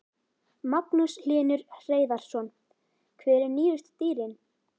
Magnús Hlynur Hreiðarsson: Hver eru nýjustu dýrin?